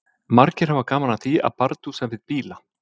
Margir hafa gaman af því að bardúsa við bíla.